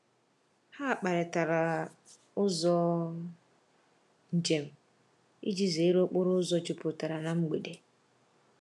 Ha kparịtara ụzọ njem iji zere okporo ụzọ jupụtara na mgbede.